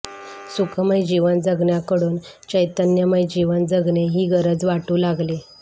सुखमय जीवन जगण्याकडून चैतन्यमय जीवन जगणे ही गरज वाटू लागली